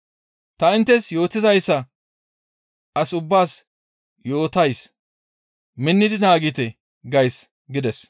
«Ta inttes yootizayssa as ubbaas yootays; minnidi naagite! gays» gides.